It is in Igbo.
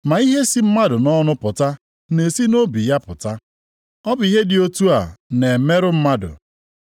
Ma ihe si mmadụ nʼọnụ pụta na-esi ya nʼobi apụta. Ọ bụ ihe dị otu a na-emerụ mmadụ.